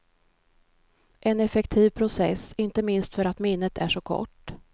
En effektiv process, inte minst för att minnet är så kort.